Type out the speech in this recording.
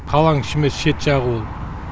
қаланың іші емес шет жағы